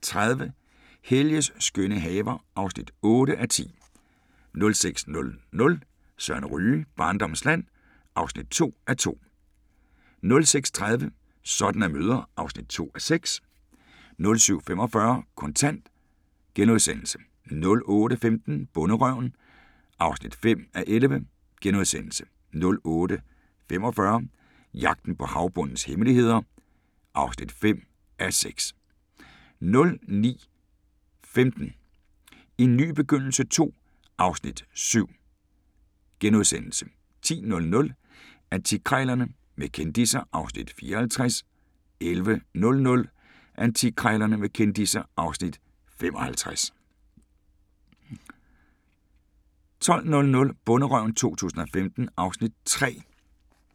05:30: Helges skønne haver (8:10) 06:00: Søren Ryge: Barndommens land (2:2) 06:30: Sådan er mødre (2:6) 07:45: Kontant * 08:15: Bonderøven (5:11)* 08:45: Jagten på havbundens hemmeligheder (5:6)* 09:15: En ny begyndelse II (Afs. 7)* 10:00: Antikkrejlerne med kendisser (Afs. 54) 11:00: Antikkrejlerne med kendisser (Afs. 55) 12:00: Bonderøven 2015 (Afs. 3)